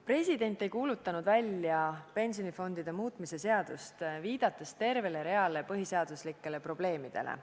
President ei kuulutanud välja pensionifondide muutmise seadust, viidates tervele reale põhiseaduslikkusega seotud probleemidele.